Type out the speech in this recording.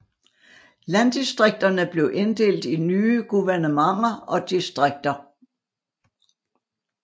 Landdistrikterne blev inddelt i nye guvernementer og distrikter